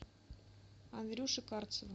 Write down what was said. андрюше карцеву